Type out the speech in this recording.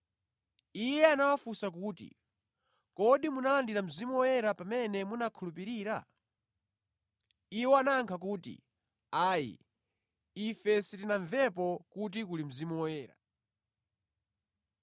Iye anawafunsa kuti, “Kodi munalandira Mzimu Woyera pamene munakhulupirira?” Iwo anayankha kuti, “Ayi, ife sitinamvepo kuti kuli Mzimu Woyera.”